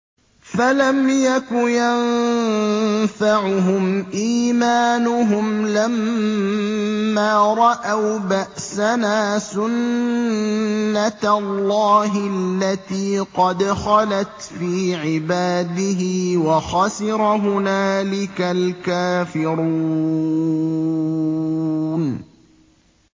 فَلَمْ يَكُ يَنفَعُهُمْ إِيمَانُهُمْ لَمَّا رَأَوْا بَأْسَنَا ۖ سُنَّتَ اللَّهِ الَّتِي قَدْ خَلَتْ فِي عِبَادِهِ ۖ وَخَسِرَ هُنَالِكَ الْكَافِرُونَ